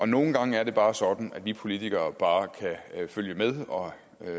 nogle gange er det bare sådan at vi politikere bare kan følge med og